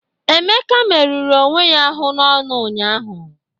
Emeka merụrụ onwe ya n'ọñụ ụnyahụ